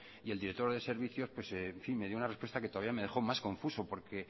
y el director de servicios en fin me dio una respuesta que todavía me dejó más confuso porque